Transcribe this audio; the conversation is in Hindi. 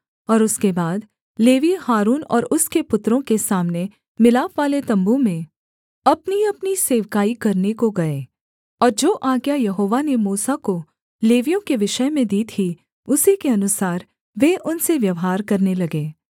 और उसके बाद लेवीय हारून और उसके पुत्रों के सामने मिलापवाले तम्बू में अपनीअपनी सेवकाई करने को गए और जो आज्ञा यहोवा ने मूसा को लेवियों के विषय में दी थी उसी के अनुसार वे उनसे व्यवहार करने लगे